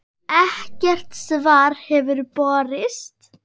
Ekkert svar hefur borist.